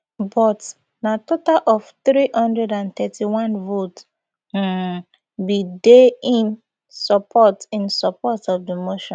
but na total of three hundred and thirty-one votes um bin dey in support in support of di motion